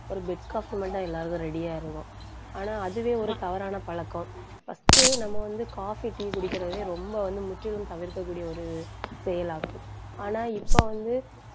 ஒரு bed coffee மட்டும் எல்லாருக்கும் ready ஆ இருக்கும் ஆனா அதுவே ஒரு தவறான பழக்கம் first நம்ம வந்து, coffee, tea குடிக்கிறதையும் ரொம்ப வந்து முற்றிலும் தவிர்க்கக்கூடிய ஒரு செயலாகும் ஆனா இப்ப வந்து